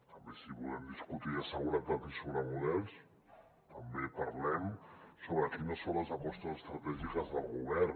també si volem discutir de seguretat i sobre models també parlem sobre quines són les apostes estratègiques del govern